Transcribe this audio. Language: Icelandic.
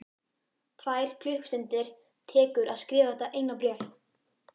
Tvær klukkustundir tekur að skrifa þetta eina bréf.